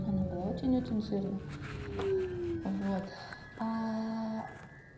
она была очень очень жирная вот